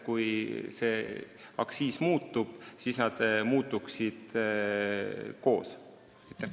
Kui aktsiis muutub, siis see muutub mõlemal.